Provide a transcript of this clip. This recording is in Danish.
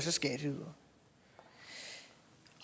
er skatteydere